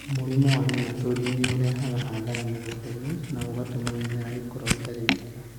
Mũrimũ wa nematode nĩ ũrehaga hathara mĩgũnda-inĩ na ũgatũma mĩmera ĩkorũo ĩtarĩ mĩega.